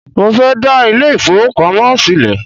Mo fẹ́ dá ilé ìfowópamọ́ sílẹ̀